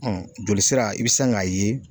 joli sira i bi san k'a ye